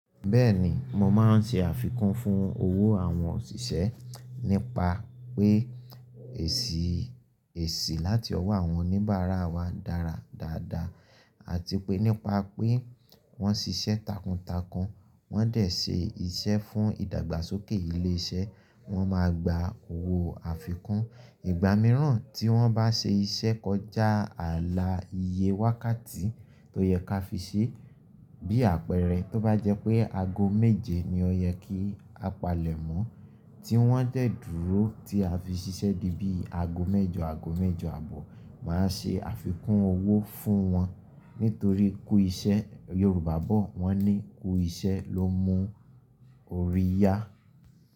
Bẹ́ẹ̀ni, mo máa ń ṣe àfikún fún owó àwọn òṣìṣẹ́ nípa pé èsì, èsì láti ọwọ́ àwọn oníbàárà wa dára dáadáa àti pé nípa pé wọ́n ṣiṣẹ́ takuntakun, wọ́n de ṣe iṣẹ́ fún ìdàgbàsókè ilé iṣẹ́, wọn máa gba owó àfikún. Ìgbà mìíràn tí wọ́n bá ṣe iṣẹ́ kọjá ààlà iye wákàtí tó yẹ ká fi ṣe bí àpẹẹrẹ tó bá jẹ́ pé aago méje ni ó yẹ kí a palẹ̀mọ́ tí wọ́n dẹ̀ dúró tí a fi ṣiṣẹ́ di bí i aago mẹ́jọ, aago mẹ́jọ àbọ̀ máa ṣe àfikún owó fún wọn nítorí kú iṣẹ́ Yorùbá bọ̀ wọ́n ní "kú iṣẹ́ ló mú orí yá"